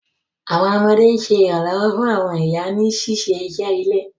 Àwọn ọmọdé sè iranlọwọ fún àwọn ìyá ní ṣiṣé iṣé ilé.